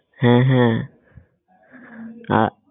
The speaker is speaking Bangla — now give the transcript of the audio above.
হ্যাঁ হ্যাঁ আহ